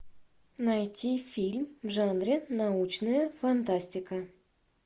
найти фильм в жанре научная фантастика